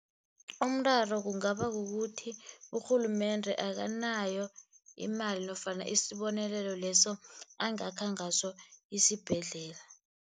Umraro kungaba kukuthi urhulumende akanayo imali nofana isibonelelo leso angakha ngaso isibhedlela.